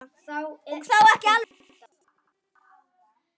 Og þó ekki alveg.